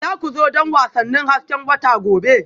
Za ku zo don wasannin hasken wata gobe?